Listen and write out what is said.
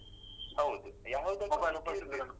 ಹೌದು ಯಾವತ್ದಕ್ಕೂ ಮಿತಿ ಇರ್ಬೆಕು.